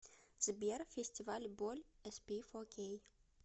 сбер фестиваль боль эспифокей